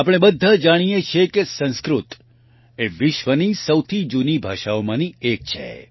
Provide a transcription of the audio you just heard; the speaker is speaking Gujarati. આપણે બધા જાણીએ છીએ કે સંસ્કૃત એ વિશ્વની સૌથી જૂની ભાષાઓમાંની એક છે